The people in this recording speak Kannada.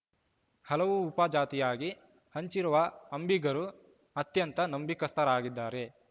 ಹಲವು ಉಪಜಾತಿಯಾಗಿ ಹಂಚಿರುವ ಅಂಬಿಗರು ಅತ್ಯಂತ ನಂಬಿಕಸ್ಥರಾಗಿದ್ದಾರೆ